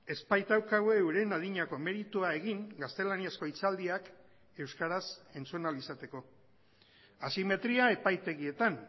ez baitaukagu euren adinako meritua egin gaztelaniazko hitzaldiak euskaraz entzun ahal izateko asimetria epaitegietan